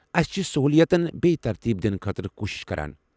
اَسہِ چھِ سہوٗلیَتَن بیٚیہِ ترتیٖب دِنہٕ خٲطرٕ کوٗشِش کران۔